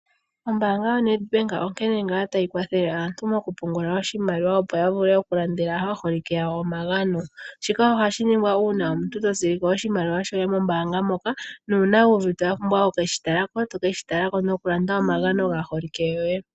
Ombaanga yoNedbank onkene ngaa tayi kwathele aantu mokupungula oshimaliwa opo yavule okulandela aaholike yawo omagano. Shika ohashi ningwa uuna omuntu totsilike oshimaliwa shoye mombaanga moka, nuuna wuuvite wapumbwa oku keshitalako toke shitala nokulanda omagano gaaholike yoye